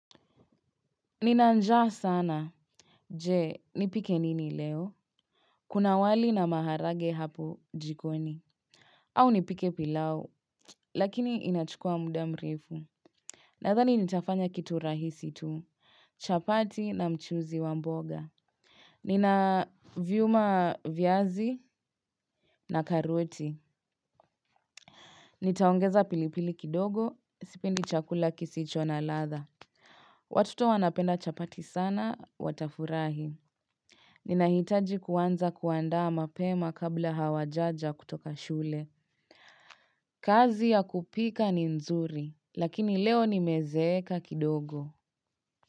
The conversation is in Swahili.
Nina njaa sana. Je, nipike nini leo? Kuna wali na maharagwe hapo jikoni. Au nipike pilau, lakini inachukua muda mrefu. Nadhani nitafanya kitu rahisi tu, chapati na mchuzi wa mboga. Ninaviuma viazi na karoti. Nitaongeza pilipili kidogo, sipendi chakula kisicho na ladha. Watuto wanapenda chapati sana, watafurahi. Ninahitaji kuanza kuandaa mapema kabla hawajaja kutoka shule. Kazi ya kupika ni nzuri, lakini leo nimezeeka kidogo.